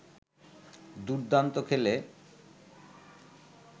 দুর্দান্ত খেলে